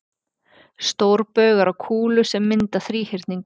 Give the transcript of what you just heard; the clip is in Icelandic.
stórbaugar á kúlu sem mynda þríhyrning